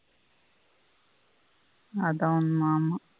அதான் ஆமா